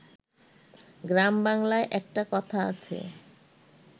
গ্রাম বাংলায় একটা কথা আছে